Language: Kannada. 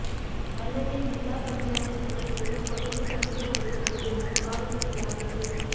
ಅಲ್ಲದೇ ಜಿಲ್ಲಾ ಪಂಚಾಯತ್ ಸದಸ್ಯರು ಕೊಲೆಗೆ ಸಂಚು ಹೂಡಿದ್ದರು ಎಂದು ಆರೋಪಿಸಲಾಗಿತ್ತು